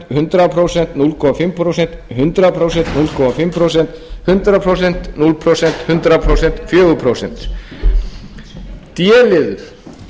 hundrað prósent núll komma fimm prósent hundrað prósent núll komma fimm prósent hundrað prósent núll prósent hundrað prósent fjögur prósent d liður